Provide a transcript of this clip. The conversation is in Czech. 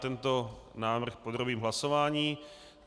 Tento návrh podrobíme hlasování.